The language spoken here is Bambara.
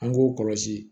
An k'o kɔlɔsi